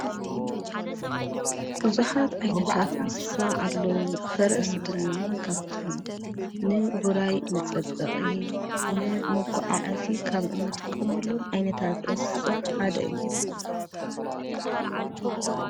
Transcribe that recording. ብዙሓት ዓይነታት እንስሳ ኣለዉ፡፡ ፈረስ ድማ ካፍቶም ንውራይ መፀበቒ ፣ ንመጓዓዓዚ ካብ እንጥቅመሎም ዓይነታት እንስሳ ሓደ እዩ፡፡